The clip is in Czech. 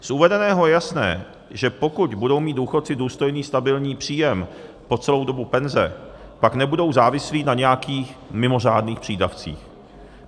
Z uvedeného je jasné, že pokud budou mít důchodci důstojný stabilní příjem po celou dobu penze, pak nebudou závislí na nějakých mimořádných přídavcích.